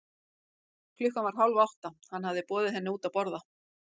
Klukkan var hálf átta, hann hafði boðið henni henni út að borða.